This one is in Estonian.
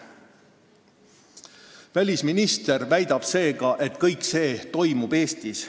Välisminister väidab seega, et kõik see toimub Eestis.